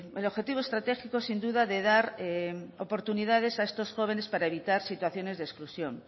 el objetivo estratégico sin duda de dar oportunidades a estos jóvenes para evitar situaciones de exclusión